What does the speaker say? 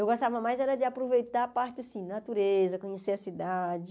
Eu gostava mais era de aproveitar a parte, assim, natureza, conhecer a cidade...